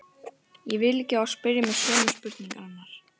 Ég vil ekki að þú spyrjir mig sömu spurningarinnar.